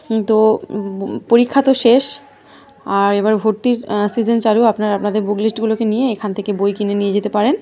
উম্ম তো পরীক্ষা তো শেষ। আর এবার ভর্তির আ সিজন চালু। আপনারা আপনাদের বুক লিস্ট গুলোকে নিয়ে এখান থেকে বই কিনে নিয়ে যেতে পারেন।